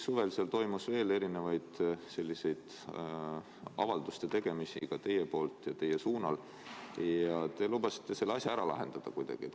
Suvel tehti veel selliseid erinevaid avaldusi nii teie poolt kui ka teie suunal ning te lubasite selle asja kuidagi ära lahendada.